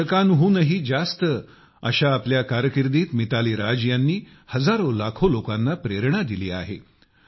दोन दशकांहूनही जास्त अशा आपल्या कारकीर्दीत मिताली राज ह्यांनी हजारो लाखो लोकांना प्रेरणा दिली आहे